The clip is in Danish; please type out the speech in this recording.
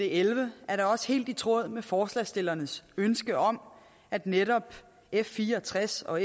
elleve er da også helt i tråd med forslagsstillernes ønske om at netop f64 og